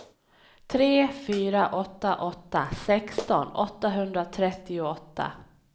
tre fyra åtta åtta sexton åttahundratrettioåtta